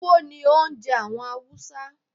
Túwó ni oúnje àwon Hausa